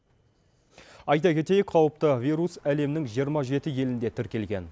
айта кетейік қауіпті вирус әлемнің жиырма жеті елінде тіркелген